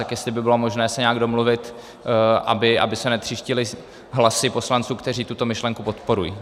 Tak jestli by bylo možné se nějak domluvit, aby se netříštily hlasy poslanců, kteří tuto myšlenku podporují.